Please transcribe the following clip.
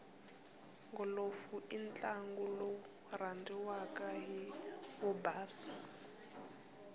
golofu intlangu lowurandziwaka hhivobhasa